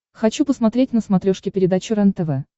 хочу посмотреть на смотрешке передачу рентв